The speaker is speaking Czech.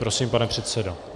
Prosím, pane předsedo.